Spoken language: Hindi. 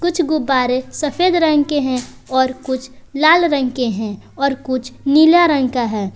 कुछ गुब्बारे सफेद रंग के हैं और कुछ लाल रंग के हैं और कुछ नीला रंग का है।